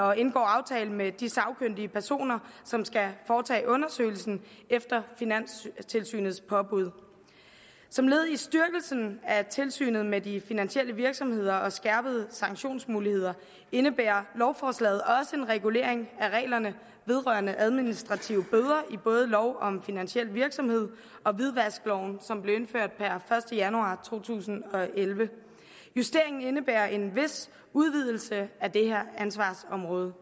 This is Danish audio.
og indgår aftale med de sagkyndige personer som skal foretage undersøgelsen efter finanstilsynets påbud som led i styrkelsen af tilsynet med de finansielle virksomheder og de skærpede sanktionsmuligheder indebærer lovforslaget også en regulering af reglerne vedrørende administrative bøder i både lov om finansiel virksomhed og hvidvaskloven som blev indført per første januar to tusind og elleve justeringen indebærer en vis udvidelse af det her ansvarsområde